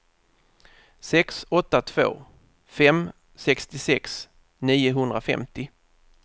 sex åtta två fem sextiosex niohundrafemtio